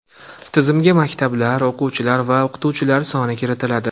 Tizimga maktablar, o‘quvchilar va o‘qituvchilar soni kiritiladi.